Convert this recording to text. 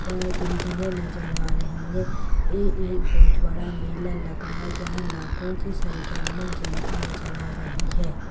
ब-बिल्डिंगें नजर आ रही हैं ए एक बहोत बड़ा मेला लगा है जहाँ लाखों की संख्या में जनता नजर आ रही है।